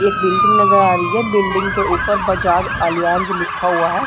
एक बिल्डिंग नजर आ रही है बिल्डिंग के उपर बजाज एलियांज लिखा हुआ है|